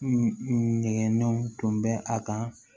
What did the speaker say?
Nɛgɛngɛnw tun bɛ a kan